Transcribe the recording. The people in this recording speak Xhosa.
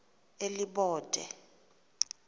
elibode